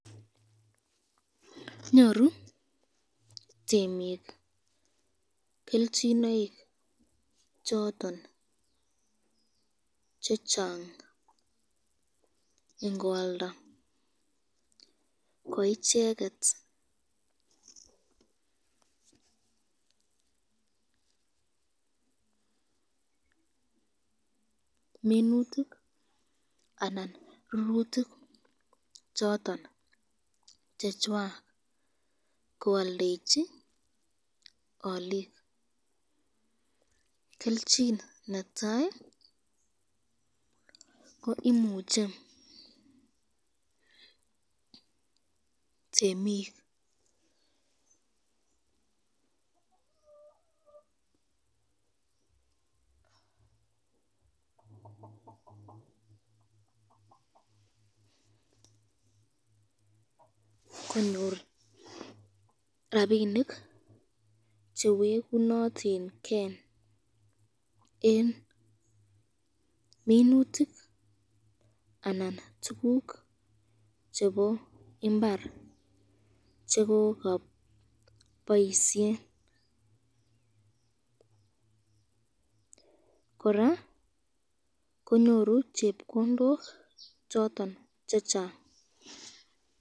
nyoru temik kelchinoik choton chechang ingoalda ko icheket minutik anan rurutik choton chechwak koaldechi alik, kelchin netai ko imuche temik konyor rapinik chewekunotinken eng minutik anan tukuk chebo imbar chekokaboisyeb, koraa konyoru chepkondok choton chechang.